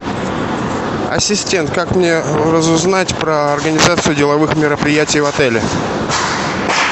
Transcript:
ассистент как мне разузнать про организацию деловых мероприятий в отеле